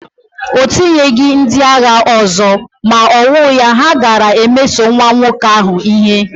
O tinyeghị ndị agha ọzọ, ma owuya, ha gaara emeso nwa nwoke ahụ ihe.